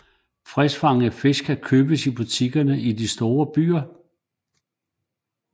Friskfangede fisk kan købes i butikkerne i de store byer